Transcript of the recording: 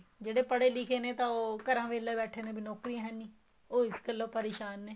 ਜਿਹੜੇ ਪੜੇ ਲਿੱਖ਼ੇ ਨੇ ਤਾਂ ਉਹ ਘਰਾਂ ਵਿਹਲੇ ਬੈਠੇ ਨੇ ਵੀ ਨੋਕਰੀਆਂ ਹੈਨੀ ਉਹ ਇਸ ਗੱਲੋ ਪਰੇਸ਼ਾਨ ਨੇ